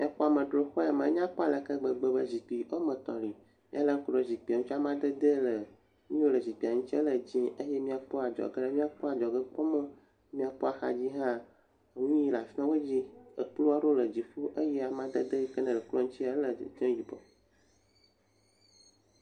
Exɔ amedzro xɔ ya me, enyakpɔ aleke gbegbe be zikpui woa me etɔ̃ li, ne èlé ŋku ɖe zikpuia ŋutia, amadede le nu yiwo le zikpuia ŋuti ele dzee, eye ne èkpɔ adzɔgea, míakopɔ adzɔgekpɔmɔ, ne míakpɔ axadzi hã, nui le afi ma godzi, eto aɖewo le dziƒo eye amadede yike nele toɔ ŋuti ele yibɔ.